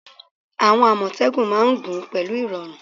Àwọn Àmọ̀tẹ́kùn máa ń gun pẹ̀lú irọrun